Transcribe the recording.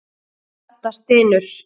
Edda stynur.